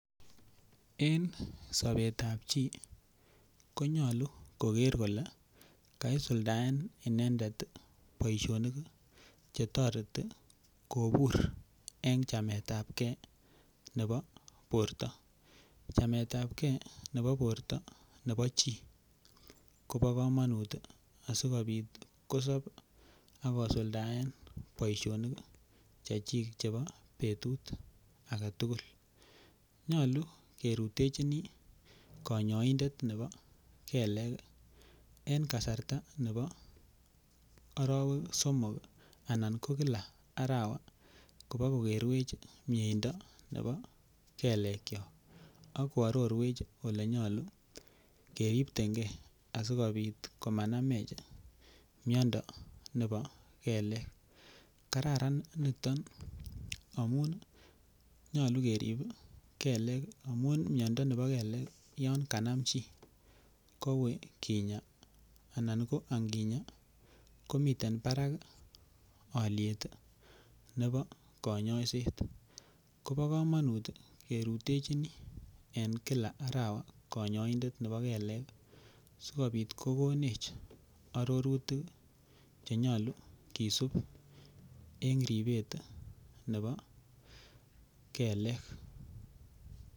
En sapetap chi konyalu koker kole kaisuldsen inendet poishonik che tareti kopur eng' chametapgei nepo porto. Chametapgei nepo porto nepo chi ko pa kamanut asikopit kosap ako suldaen poishonik chechik chepo petut age tugul. Nyalu kerutechini kanyaindet nepa kelek eng' kasarta nepo arawek somok anan ko kila arawa kopa kokerwech mieindo nepo kelekchok ak koarorwech ole nyalu keripten ge asikopit ko ma namech miondo nepo kelek. Kararan niton amun nyalu kerip kelek amun miondo nepo kelek yan kanam chi ko ui kinya anan ko anginya ko miten parak aliet nepo kanyaiset. Ko pa kamanut ke rutechini en kila arawa kanyaindet nepo kelek asikopit ko konech arorutik che nyalu kisup eng' ripet nepo kelek.